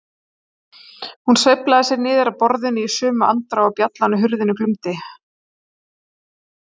Hún sveiflaði sér niður af borðinu í sömu andrá og bjallan á hurðinni glumdi.